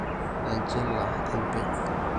Enchila empeku